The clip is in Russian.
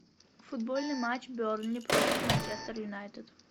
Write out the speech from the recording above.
футбольный матч бернли против манчестер юнайтед